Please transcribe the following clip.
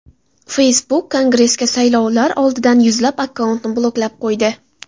Facebook Kongressga saylovlar oldidan yuzlab akkauntni bloklab qo‘ydi.